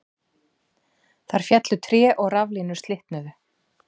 Þar féllu tré og raflínur slitnuðu